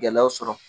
Gɛlɛyaw sɔrɔ